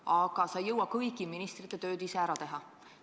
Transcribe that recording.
Aga sa ei jõua kõigi ministrite tööd ära teha.